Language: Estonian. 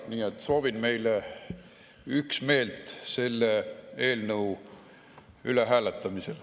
Nii et soovin meile üksmeelt selle eelnõu üle hääletamisel.